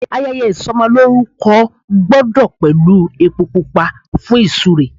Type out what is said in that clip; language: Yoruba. Ayẹyẹ ìsọmọlórúkọ gbúdọ̀ pẹ̀lú epo pupa fún ìsúre.